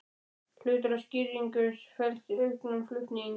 Hluti af skýringunni felst í auknum flutnings